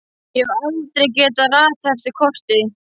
Ég hef heldur aldrei getað ratað eftir korti.